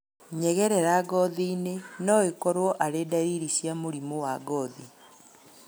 Nyegerera ngothi-inĩ noikorwo arĩ ndariri cia mũrimũ wa ngothi